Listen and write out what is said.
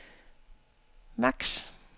maks